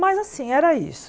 Mas assim, era isso.